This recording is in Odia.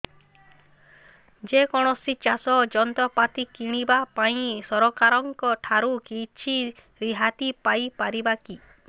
ଯେ କୌଣସି ଚାଷ ଯନ୍ତ୍ରପାତି କିଣିବା ପାଇଁ ସରକାରଙ୍କ ଠାରୁ କିଛି ରିହାତି ପାଇ ପାରିବା କି